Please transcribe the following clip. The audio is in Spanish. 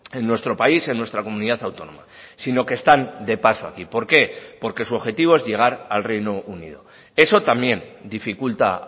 en nuestro país en nuestra comunidad autónoma sino que están de paso aquí por qué porque su objetivo es llegar al reino unido eso también dificulta